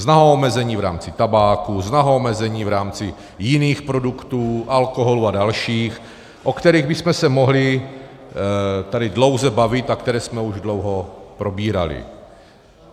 Zná omezení v rámci tabáku, zná omezení v rámci jiných produktů, alkoholu a dalších, o kterých bychom se mohli tady dlouze bavit a které jsme už dlouho probírali.